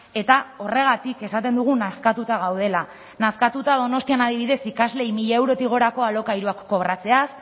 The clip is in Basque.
eta horregatik esaten dugu nazkatuta gaudela nazkatuta donostian adibidez ikasleei mila eurotik gorako alokairuak kobratzeaz